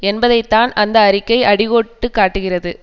என்பதைத்தான் அந்த அறிக்கை அடிகோட்டு காட்டுகிறது